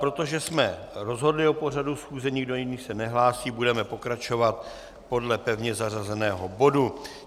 Protože jsme rozhodli o pořadu schůze, nikdo jiný se nehlásí, budeme pokračovat podle pevně zařazeného bodu.